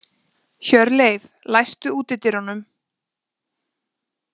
Hjörleif, læstu útidyrunum.